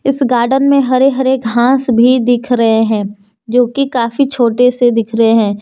इस गार्डन में हरे हरे घास भी दिख रहे है जोकि काफी छोटे से दिख रहे है।